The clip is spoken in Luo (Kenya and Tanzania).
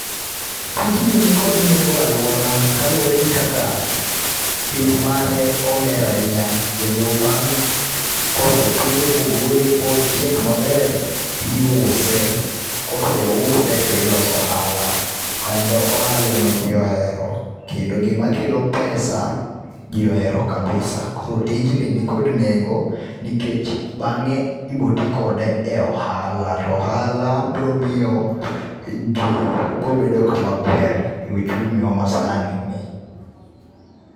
Tijni ni kod nengo e alwora, ka luwore gi kaka pith mare oher ahinya. Kendo bang' kosepidhe ba ogole, ba ochiek maber, tiuse. Koseuse to iloso ohala. Kendo ohala ema ji ohero. Kendo gima kelo pesa ji ohero kabisa. Koro tijni nikod nengo nikech bangé ibiro ti kode e ohala, to ohala biro miyo ji biro bedo kama ber e uchumi wa ma sani ni.